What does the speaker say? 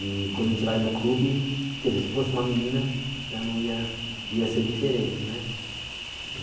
E quando a gente vai no clube, quer dizer, se fosse uma menina já não ia ia ser diferente, né?